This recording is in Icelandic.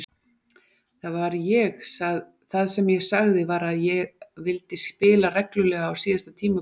Það sem ég sagði var að vildi spila reglulega á síðasta tímabilinu hjá klúbbnum.